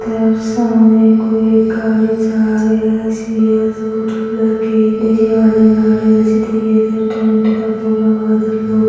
सामने एक गाड़ी जा रही है --